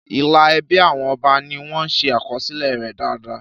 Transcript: Ìlà ẹbí àwọn ọba ni wọ́n ṣe àkọsílẹ̀ rẹ̀ dáadáa.